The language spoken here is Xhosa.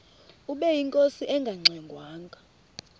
ubeyinkosi engangxe ngwanga